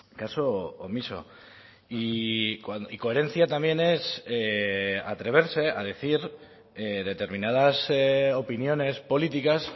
caso omiso y coherencia también es atreverse a decir determinadas opiniones políticas